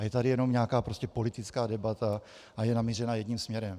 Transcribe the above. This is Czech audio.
A je tady jenom nějaká politická debata a je namířena jedním směrem.